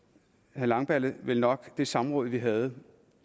herre langballe vel nok det samråd vi havde